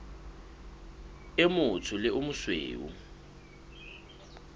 o motsho le o mosweu